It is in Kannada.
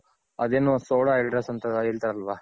ಅದೇನೂ ಅಂತ ಹೇಳ್ತಾರಲ್ವ.